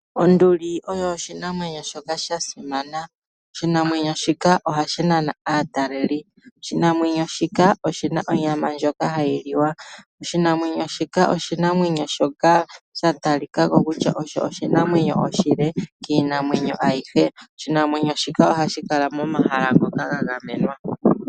Onduli oyo oshinamwenyo shoka sha simana. Oshinamwenyo shika ohashi nana aataleli. Oshinamwenyo shika oshina onyama ndjoka hayi liwa. Oshinamwenyo shika oshinamwenyo shoka sha talika ko kutya osho oshinamwenyo oshile kiinamwenyo ayihe. Oshinamwenyo shika ohashi kala momahala ngoka ga gamenwa.